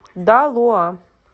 далоа